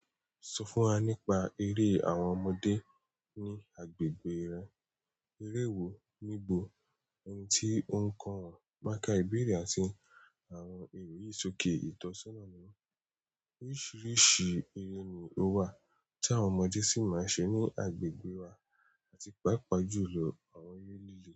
Sọ fún wa nípa eré àwọn ọmọdé ní agbègbè rẹ. Eré wo nígbò oun ti ó ń kọ wọn mákà ìbéèrè àti àwọn èrò yìí sòké ìtọ́sọ́nà niwọn. Oríṣiríṣi eré ni ó wà tí àwọn ọmọdé sì máa ń ṣe ní agbègbè wa àti papa ju lọ àwọn eré líle.